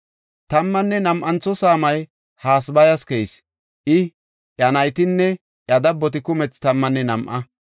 Tammanne nam7antho saamay Hasabayas keyis; I, iya naytinne iya dabboti kumethi tammanne nam7a.